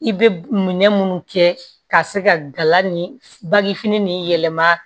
I bɛ minɛ minnu kɛ ka se ka gala ni bagifini ni yɛlɛma